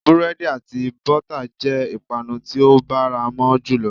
Búrédì àti bótà jé ìpanu tí ó báramo jùlo